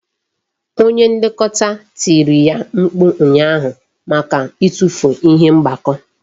Onye Nlekọta tiri ya mkpu ụnyaahụ maka itufu ihe mgbakọ